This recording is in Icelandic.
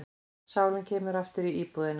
Sálin kemur aftur í íbúðina.